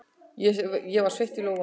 Ég var sveitt í lófunum.